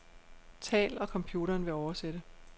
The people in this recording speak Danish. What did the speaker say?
Tal, og computeren vil oversætte.